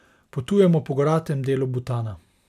Potujemo po goratem delu Butana.